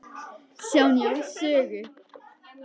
Sjá Njáls sögu.